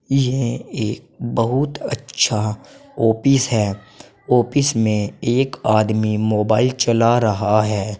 यह एक बहुत अच्छा ऑफिस है ऑफिस में एक आदमी मोबाइल चला रहा है।